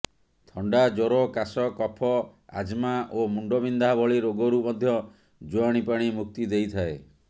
ଥଣ୍ଡା ଜ୍ୱର କାଶ କଫ ଆଜ୍ମା ଓ ମୁଣ୍ଡବିନ୍ଧା ଭଳି ରୋଗରୁ ମଧ୍ୟ ଜୁଆଣି ପାଣି ମୁକ୍ତି ଦେଇଥାଏ